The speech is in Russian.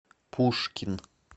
пушкин